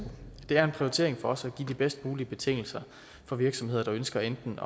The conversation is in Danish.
det er en prioritering for os at give de bedst mulige betingelser for virksomheder der ønsker enten